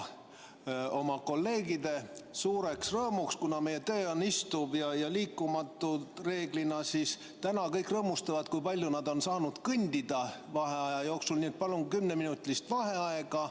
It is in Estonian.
Oma kolleegide suureks rõõmuks – kuna meie töö on reeglina istuv ja liikumist on vähe, siis täna kõik rõõmustavad, kui palju nad on saanud vaheaja jooksul kõndida – palun kümneminutilist vaheaega.